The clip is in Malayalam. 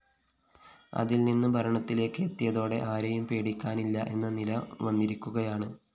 അതില്‍നിന്ന് ഭരണത്തിലേക്ക് എത്തിയതോടെ ആരെയും പേടിക്കാനില്ല എന്ന നില വന്നിരിക്കുകയാണ്